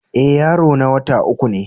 Eh, yaro na wota uku ne.